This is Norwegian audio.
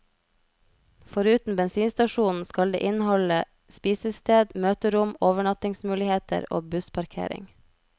Foruten bensinstasjonen skal det inneholde spisested, møterom, overnattingsmuligheter og bussparkering.